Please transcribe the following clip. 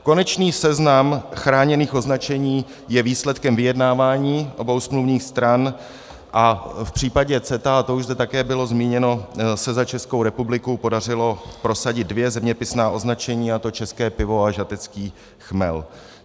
Konečný seznam chráněných označení je výsledkem vyjednávání obou smluvních stran a v případě CETA, a to už zde také bylo zmíněno, se za Českou republiku podařilo prosadit dvě zeměpisná označení, a to české pivo a žatecký chmel.